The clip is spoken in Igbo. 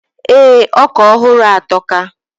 Ee, oka ohuru a atoka.